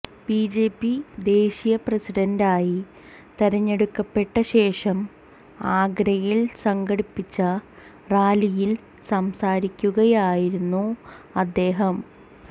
BJP ദേശീയ പ്രസിഡന്റായി തെരഞ്ഞെടുക്കപ്പെട്ട ശേഷം ആഗ്രയിൽ സംഘടിപ്പിച്ച റാലിയിൽ സംസാരിക്കുകയായിരുന്നു അദ്ദേഹം